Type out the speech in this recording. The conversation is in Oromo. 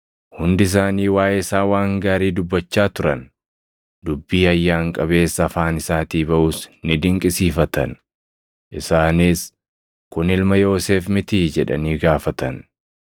Hundi isaanii waaʼee isaa waan gaarii dubbachaa turan; dubbii ayyaan qabeessa afaan isaatii baʼus ni dinqisiifatan. Isaanis, “Kun ilma Yoosef mitii?” jedhanii gaafatan.